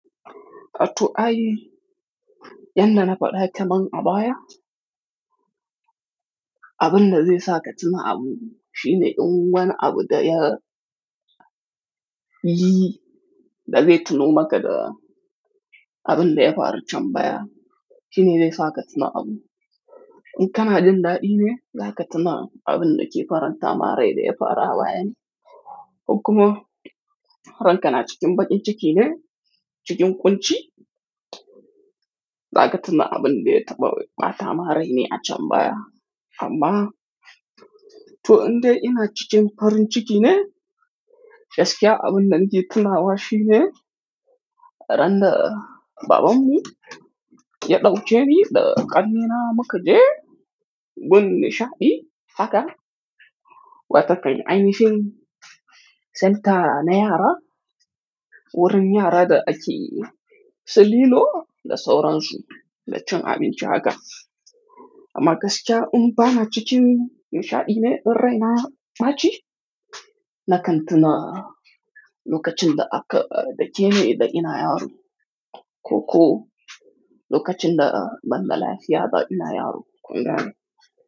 Atoh ai, yanda na faɗa kaman a baya, abin da zai sa ka tuna abu shine in wani abu da ya yi da zai tuno maka da abin da ya faru can baya shine zai sa ka tuna abu. In kana jin daɗi ne, za ka tuna abin da ke faranta ma rai da ya faru a baya ne. In kuma ranka na cikin baƙin ciki ne, cikin ƙunci, za ka tuna abin da ya taɓa ɓata ma rai ne a can baya. Amma to in dai ina cikin farin ciki ne, gaskiya abin da nake tunawa shi ne ran da babanmu ya ɗauke ni da ƙannena mu ka je gun nishaɗi haka, wa takan ainihim centre na yara wurin yara da ake su lilo da sauransu da cin abinci haka. Amma gaskiya in ba na cikin nishaɗi ne in rai na ya ɓaci na kan tuna lokacin da aka dake ni da ina yaro. Ko ko lokacin da ban da lafiya da ina yaro kungane.